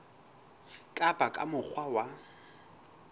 ka ba ka mokgwa wa